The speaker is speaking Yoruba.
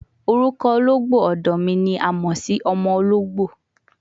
Orukọ ologbo ọdọ ni a mọ si ọmọ ologbo